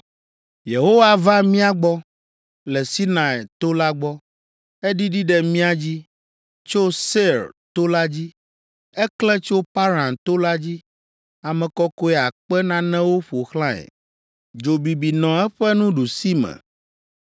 “Yehowa va mía gbɔ le Sinai to la gbɔ; eɖiɖi ɖe mía dzi tso Seir to la dzi. Eklẽ tso Paran to la dzi ame kɔkɔe akpe nanewo ƒo xlãe, dzo bibi nɔ eƒe nuɖusime.